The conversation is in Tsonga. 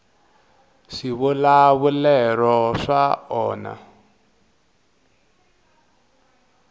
swivulavulero swa onha